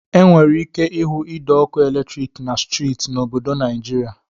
E nwere ike ihu ide ọkụ eletrik na streeti n'obodo Naịjịrịa.